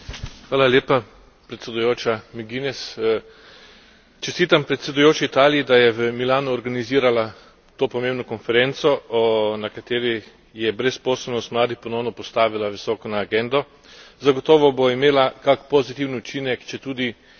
Čestitam predsedujoči Italiji, da je v Milanu organizirala to pomembno konferenco, na kateri je brezposelnost mladih ponovno postavila visoko na agendo. Zagotovo bo imela kak pozitiven učinek, četudi vemo, kako je takrat, ko se dobijo šefi vlad in držav.